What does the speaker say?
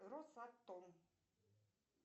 росатом